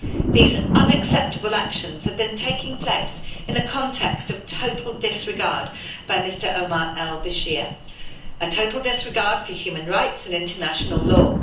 These unacceptable actions have been taking place in the context of total disregard by Mr Omar al-Bashir, a total disregard for human rights and international law.